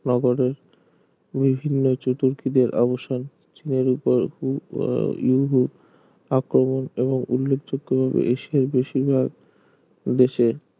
নগরের বিভিন্ন চতুর্কিতের অবসান চীনের ওপর আহ ইউহু আক্রমণ এবং উল্লেখযোগ্য ভাবে এশিয়ার বেশিরভাগ দেশে